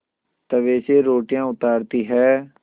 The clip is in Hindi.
तवे से रोटियाँ उतारती हैं